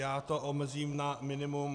Já to omezím na minimum.